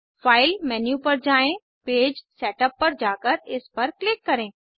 file menu पर जाएँ page setup पर जाकर इस पर क्लिक करें